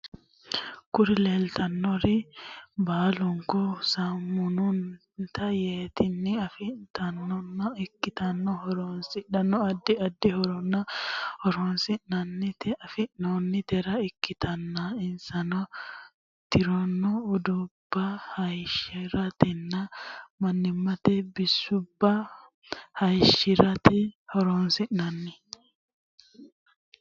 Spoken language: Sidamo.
Kuri lelitanori baliniku sammunate yattenni afanitanota iktana horonisano adid adid horora horonisirateni afanitanore ikitana insano turrino udunuba hayishshratena manimate bisuba hayishshrate horonisinanni.